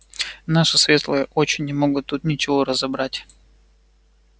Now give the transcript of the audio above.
наши светлые очи не могут тут ничего разобрать